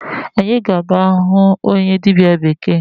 Anyị ga-aga ahụ onye dịbịa bekee.